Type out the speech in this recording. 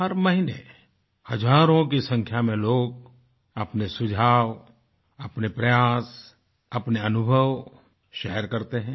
हर महीने हज़ारों की संख्या में लोग अपने सुझाव अपने प्रयास अपने अनुभव शेयर करते हैं